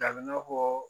Dabileni fɔ